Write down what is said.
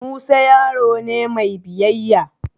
Musa yaro ne mai biyayya.